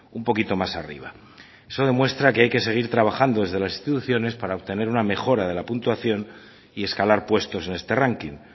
un poquito más arriba eso demuestra que hay que seguir trabajando desde las instituciones para obtener una mejora de la puntuación y escalar puestos en este ranking